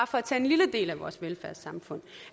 for at tage en lille del af vores velfærdssamfund